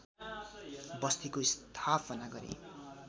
बस्तीको स्थापना गरे